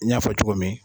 N y'a fɔ cogo min